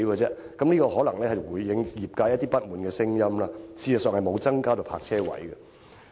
此舉可能會稍稍紓緩業界不滿的聲音，實際卻沒有增加泊車位。